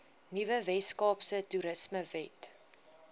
nuwe weskaapse toerismewet